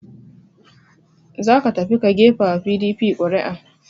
Za ka tafi ka gefa wa PDP ƙuri'a!